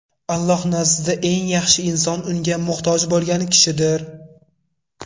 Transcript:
Alloh nazdida eng yaxshi inson Unga muhtoj bo‘lgan kishidir.